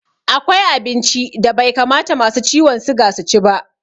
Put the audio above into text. Akwai abinci da bai kamata masu ciwon suga su ci ba.